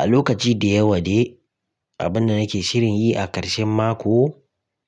A lokaci da yawa de, abinda nake shirin yi a ƙarshen mako